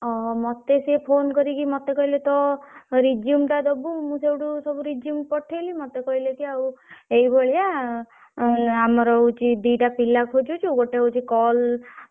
ଓହୋ। ମତେ ସିଏ phone କରିକି ମତେ କହିଲେ ତୋ resume ଟା ଦବୁ ମୁଁ ସୋଉଠୁ ସବୁ resume ପଠେଇଲି ମତେ କହିଲେ କି ଆଉ ଏଇଭଳିଆ ଆଁ ଆମର ହଉଛି ଦିଟା ପିଲା ଖୋଜୁଛୁ ଗୋଟେ ହଉଛି call ।